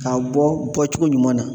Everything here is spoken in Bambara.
K'a bɔ bɔcogo ɲuman na.